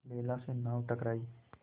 बेला से नाव टकराई